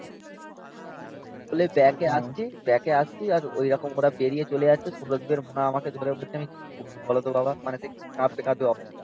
বলে ব্যাকে আসছি. ব্যাকে আসছি আর ঐরকম করে পেরিয়ে চলে যাচ্ছে. সৌরদীপের মা আমাকে ধরে বলছে আমি কি করবো? বলতো বাবা. মানে তুই কাঁপতে কাঁপতে অবস্থা.